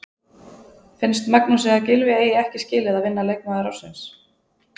Finnst Magnúsi að Gylfi eigi ekki skilið að vinna leikmaður ársins?